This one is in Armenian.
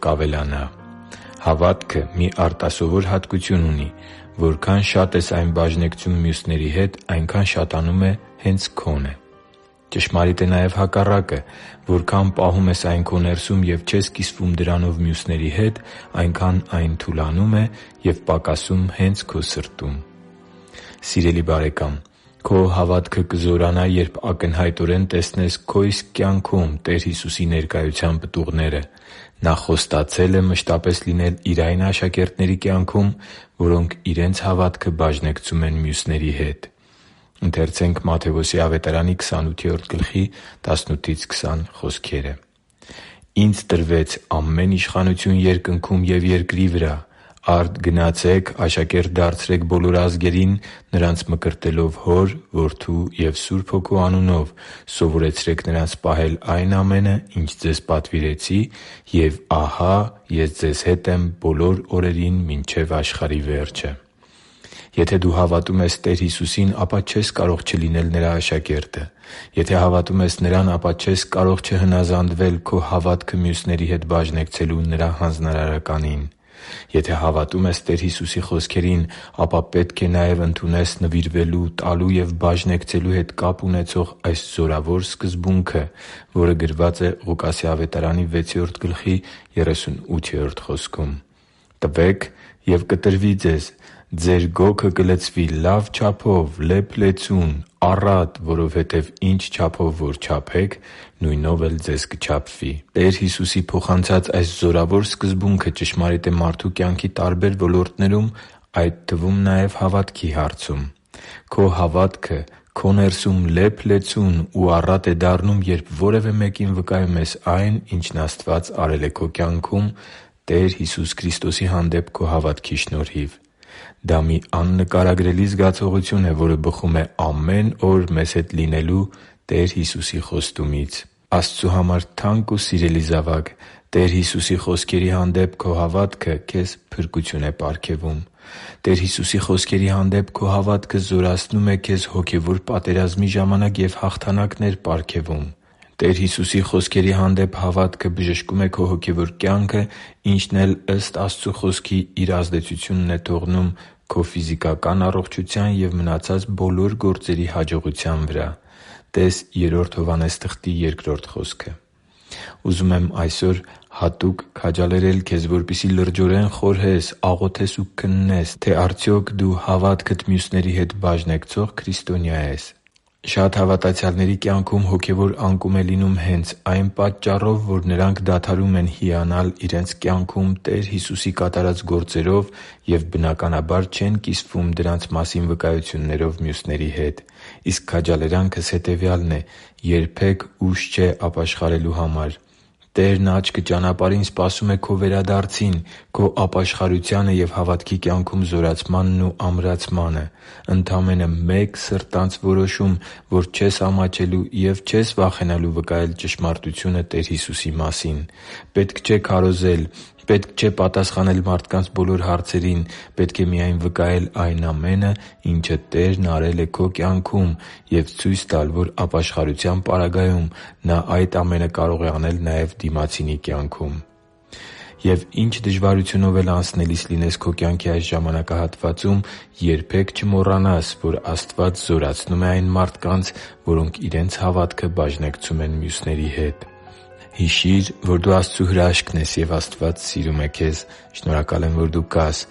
կավելանա Հավատքը մի արտասովոր հատկություն ունի՝ որքան շատ ես այն բաժնեկցում մյուսների հետ, այնքան շատանում է հենց քոնը։ Ճշմարիտ է նաև հակառակը՝ որքան պահում ես այն քո ներսում և չես կիսվում դրանով մյուսների հետ, այնքան այն թուլանում է և պակասում հե՛նց քո սրտում։ Սիրելի՛ բարեկամ, քո հավատքը կզորանա, երբ ակնհայտորեն տեսնես քո իսկ կյանքում Տեր Հիսուսի ներկայության պտուղները։ Նա խոստացել է մշտապես լինել Իր այն աշակերտների կյանքում, որոնք իրենց հավատքը բաժնեկցում են մյուսների հետ․ «Ինձ տրվեց ամեն իշխանություն երկնքում ու երկրի վրա։ Արդ գնացե՛ք, աշակե՛րտ դարձրեք բոլոր ազգերին՝ նրանց մկրտելով Հոր, Որդու և Սուրբ Հոգու անունով, սովորեցրե՛ք նրանց պահել այն ամենը, ինչ ձեզ պատվիրեցի։ Եվ ահա Ես ձեզ հետ եմ բոլոր օրերին մինչև աշխարհի վերջը» (Մատթեոս 28.18-20)։ Եթե դու հավատում ես Տեր Հիսուսին, ապա չես կարող չլինել Նրա աշակերտը։ Եթե հավատում ես Նրան, ապա չես կարող չհնազանդվել քո հավատքը մյուսների հետ բաժնեկցելու Նրա հանձնարարականին։ Եթե հավատում ես Տեր Հիսուսի խոսքերին, ապա պետք է նաև ընդունես նվիրվելու, տալու և բաժնեկցելու հետ կապ ունեցող այս զորավոր սկզբունքը․ «Տվե՛ք, և կտրվի ձեզ. ձեր գոգը կլցվի լա՛վ չափով՝ լեփ-լեցուն, առատ, որովհետև ինչ չափով որ չափեք, նույնով էլ ձեզ կչափվի» (Ղուկաս 6.38)։ Տեր Հիսուսի փոխանցած այս զորավոր սկզբունքը ճշմարիտ է մարդու կյանքի տարբեր ոլորտներում, այդ թվում նաև՝ հավատքի հարցում։ Քո հավատքը քո ներսում լեփ-լեցուն ու առատ է դառնում, երբ որևէ մեկին վկայում ես այն, ինչն Աստված է արել քո կյանքում Տեր Հիսուս Քրիստոսի հանդեպ քո հավատքի շնորհիվ։ Դա մի աննկարագրելի զգացողություն է, որը բխում է ամեն օր մեզ հետ լինելու Տեր Հիսուսի խոստումից։ Աստծու համար թանկ ու սիրելի՛ զավակ, Տեր Հիսուսի խոսքերի հանդեպ հավատքը քեզ փրկություն է պարգևում։ Տեր Հիսուսի խոսքերի հանդեպ հավատքը զորացնում է քեզ հոգևոր պատերազմի ժամանակ և հաղթանակներ պարգևում։ Տեր Հիսուսի խոսքերի հանդեպ հավատքը բժշկում է քո հոգևոր կյանքը, ինչն էլ, ըստ Աստծու Խոսքի, իր ազդեցությունն է ունենում քո ֆիզիկական առողջության և մնացած բոլոր գործերի հաջողության վրա (տե՛ս Գ Հովհաննես 1․2 խոսքը)։ Ուզում եմ այսօր հատուկ քաջալերել քեզ, որպեսզի լրջորեն խորհես, աղոթես ու քննես, թե արդյոք դու հավատքդ մյուսների հետ բաժնեկցո՞ղ քրիստոնյա ես․․․ Շատ հավատացյալների կյանքում հոգևոր անկում է լինում հենց ա՛յն պարզ պատճառով, որ նրանք դադարում են հիանալ իրենց կյանքում Տեր Հիսուսի կատարած գործերով և, բնականաբար, չեն կիսվում դրանց մասին վկայություններով մյուսների հետ։ Իսկ քաջալերանքս հետևյալն է․ երբե՛ք ուշ չէ ապաշխարելու համար։ Տերն աչքը ճանապարհին սպասում է քո վերադարձին՝ քո ապաշխարությանը և հավատքի կյանքում զորացմանն ու ամրացմանը։ Ընդամենը մեկ սրտանց որոշում, որ չես ամաչելու և չես վախենալու վկայել ճշմարտությունը Տեր Հիսուսի մասին։ Պետք չէ քարոզել։ Պետք չէ պատասխանել մարդկանց բոլոր հարցերին։ Պետք է միայն վկայել այն ամենը, ինչը Տերն արել է քո կյանքում, և ցույց տալ, որ ապաշխարության պարագայում Նա այդ ամենը կարող է անել նաև դիմացինի կյանքում։ Եվ ինչ դժվարությունով էլ անցնելիս լինես քո կյանքի այս ժամանակահատվածում, երբե՛ք չմոռանաս, որ Աստված զորացնում է այն մարդկանց, որոնք իրենց հավատքը բաժնեկցում են մյուսների հետ։ Հիշի՛ր, որ դու Աստծո հրաշքն ես, և Աստված սիրում է քեզ։ Շնորհակալ եմ, որ դու կա՛ս